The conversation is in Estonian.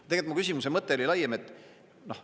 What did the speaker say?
Tegelikult mu küsimuse mõte oli laiem.